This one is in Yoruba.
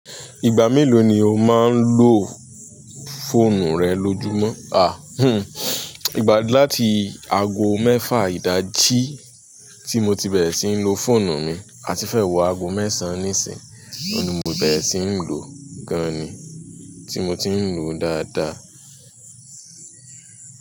Ìgbà mélòó ni o máa ń lo fóònù rẹ lójúmọ́? À, hmm, ìgbà láti ago mẹ́fà ìdájí tí mo ti bẹ̀rẹ̀ síi lo fóònù mi àti fẹ́ wọ ago mẹ́sàn-án nísìnyí, òun ni mo bẹ̀rẹ̀ síi lòó gan-an ni, tí mo ti ń lò dáadáa.